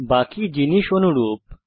বাকি জিনিস অনুরূপ